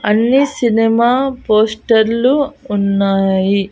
అన్ని సినిమా పోస్టర్లు ఉన్నాయి.